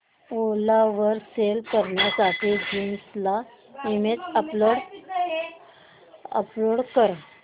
ओला वर सेल करण्यासाठी जीन्स ची इमेज अपलोड कर